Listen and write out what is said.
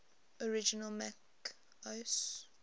original mac os